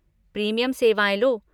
Premium सेवाएँ लो।